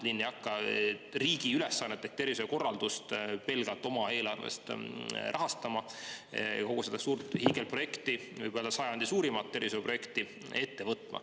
Linn ei hakka riigi ülesannet ehk tervishoiukorraldust pelgalt oma eelarvest rahastama ja kogu seda suurt hiigelprojekti, võib öelda, sajandi suurimat tervisehoiuprojekti ette võtma.